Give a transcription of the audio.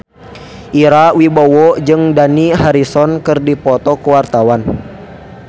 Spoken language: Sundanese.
Ira Wibowo jeung Dani Harrison keur dipoto ku wartawan